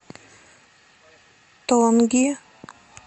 тонги